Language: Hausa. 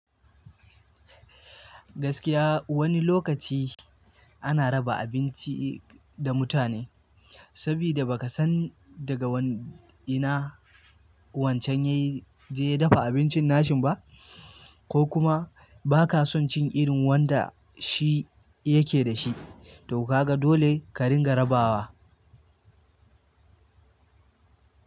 Gaskiya wani lokaci ana raba abinci da mutane saboda baka san daga ina wancan ya je ya dafa abincin nashin ba ko kuma ba ka son cin irin wanda shi yake da shi, to ka ga dole ka ringa rabawa.